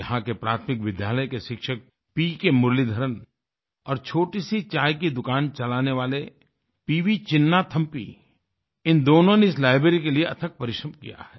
यहाँ के प्राथमिक विद्यालय के शिक्षक पीके मुरलीधरन और छोटी सी चाय की दुकान चलाने वाले पीवी चिन्नाथम्पी इन दोनों ने इस लाइब्रेरी के लिए अथक परिश्रम किया है